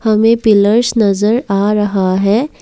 हमें पिलर्स नजर आ रहा है।